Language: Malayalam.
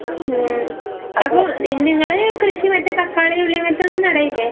ഉം അപ്പൊ നിങ്ങള് കൃഷി മറ്റേ തക്കാളി, ഉള്ളി അങ്ങനത്തെ ഒന്നും നടേല്ലേ?